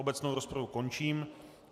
Obecnou rozpravu končím.